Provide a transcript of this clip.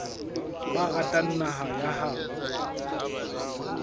ba ratang naha ya habo